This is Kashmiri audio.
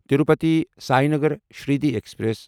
تروٗپتی ساینگر شِردی ایکسپریس